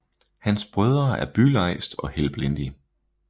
Hans Brødre er Bylejst og Helblindi